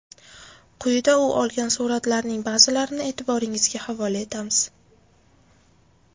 Quyida u olgan suratlarning ba’zilarini e’tiboringizga havola etamiz.